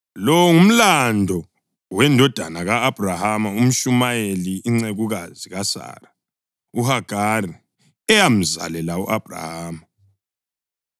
Lo ngumlando wendodana ka-Abhrahama u-Ishumayeli, incekukazi kaSara uHagari eyamzalela u-Abhrahama.